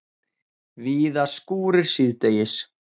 Víða skúrir síðdegis